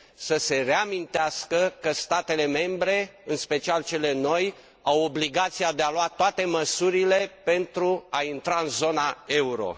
să se reamintească că statele membre, în special cele noi, au obligația de a lua toate măsurile pentru a intra în zona euro